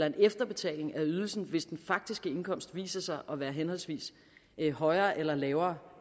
en efterbetaling af ydelsen hvis den faktiske indkomst viser sig at være henholdsvis højere eller lavere